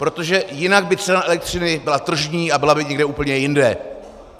Protože jinak by cena elektřiny byla tržní a byla by někde úplně jinde.